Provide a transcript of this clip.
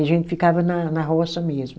A gente ficava na na roça mesmo.